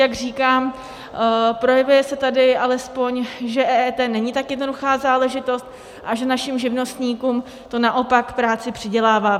Jak říkám, projevuje se tady alespoň, že EET není tak jednoduchá záležitost a že našim živnostníkům to naopak práci přidělává.